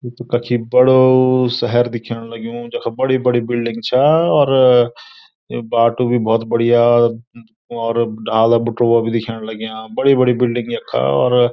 यु त कखी बडो सहर दिखेंण लग्यूं जख बड़ी बड़ी बिल्डिंग छा और यु बाटू भी भौत बढ़िया और डाला बोटुला भी दिख्येण लग्याँ बड़ी बड़ी बिल्डिंग यखा और --